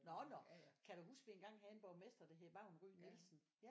Nå nå kan du huske dengang vi havde en borgmester der hed Vagn Ry Nielsen